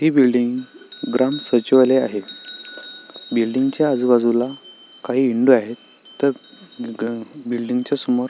ही building ग्राम सचिवालय आहे बिल्डिंग च्या आजूबाजूला काही विंडो आहेत तर बिल्डिंग च्या समोर--